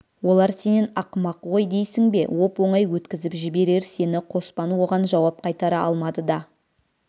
олар сенен ақымақ ғой дейсің бе оп-оңай өткізіп жіберер сені қоспан оған жауап қайтара алмады да